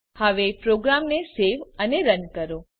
હવે પ્રોગ્રામને સેવ અને રન કરો